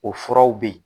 O furaw bɛ yen